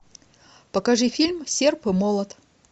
покажи фильм серп и молот